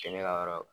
Cɛn ne ka yɔrɔ